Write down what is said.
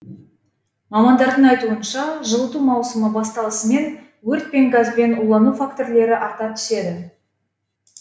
мамандардың айтуынша жылыту маусымы басталысымен өрт пен газбен улану фактрлері арта түседі